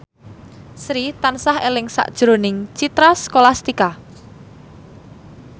Sri tansah eling sakjroning Citra Scholastika